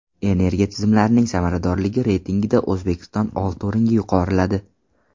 Energiya tizimlarining samaradorligi reytingida O‘zbekiston olti o‘ringa yuqoriladi.